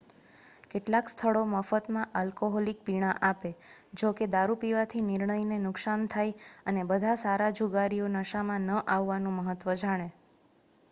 કેટલાક સ્થળો મફતમાં આલ્કોહોલિક પીણા આપે.જોકે દારૂપીવાથી નિર્ણય ને નુકસાન થાય, અને બધા સારા જુગારીઓ નશામાં ન આવવાનું મહત્વ જાણે